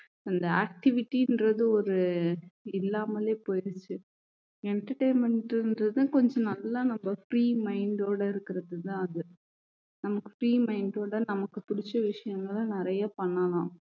அந்த activity ன்றது ஒரு இல்லாமலே போயிருந்துச்சு entertainment ன்றது கொஞ்சம் நல்லா நம்ம free mind ஓட இருக்கறதுதான் அது நமக்கு free mind ஓட நமக்கு புடிச்ச விஷயங்களை நிறைய பண்ணலாம்